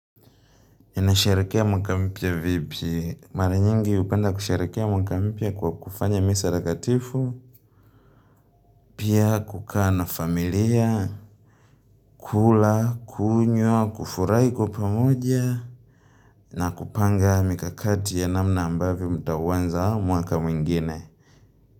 Ninasherehekea mwaka mpya vipi? Mara nyingi hupenda kusherehekea mwaka mpya kwa kufanya misa takatifu, pia kukaa na familia, kula, kunywa, kufurai kwa pamoja, na kupanga mikakati ya namna ambavyo mtaunza mwaka mwingine.